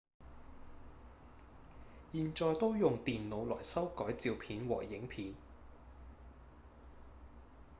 現在都用電腦來修改照片和影片